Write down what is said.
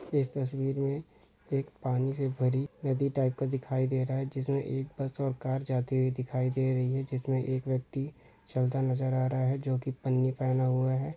इस तस्वीर में एक पानी से भरी नदी टाइप का कुछ दिखाई दे रहा हैजिसमें एक बस और कार जाते हुए दिखाई दे रही हैं जिसमे एक व्यक्ति चलता नजर आ रहा है जो की पन्नी पहना हुआ है।